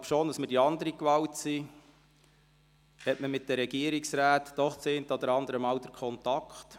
Obwohl wir die andere Gewalt sind, hat man doch das eine oder andere Mal mit dem Regierungsrat Kontakt.